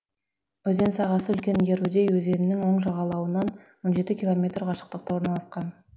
өзен сағасы үлкен ярудей өзенінің оң жағалауынан он жеті километр қашықтықта орналасқан